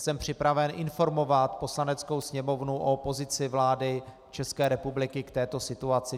Jsem připraven informovat Poslaneckou sněmovnu o pozici vlády České republiky k této situaci.